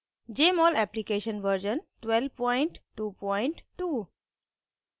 jmol application version 1222